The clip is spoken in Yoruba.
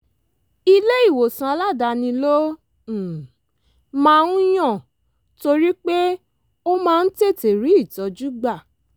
ilé ìwòsàn aládàáni ló um máa ń yàn torí pé ó máa ń tètè rí ìtọ́jú gbà